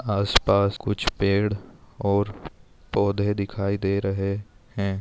आस पास कुछ पेड़ और पौधे दिखाई दे रहे है।